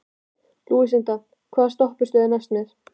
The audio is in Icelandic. Lúsinda, hvaða stoppistöð er næst mér?